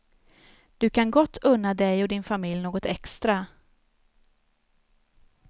Du kan gott unna dig och din familj något extra.